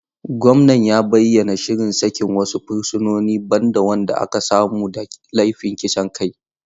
Gwamnan ya bayyana shirin sakin wasu fursunoni, ban da waɗanda aka samu da laifin kisan kai.